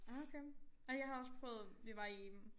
Okay ej jeg har også prøvet vi var i en